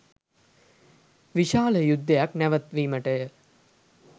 විශාල යුද්ධයක් නැවැත්වීමටය.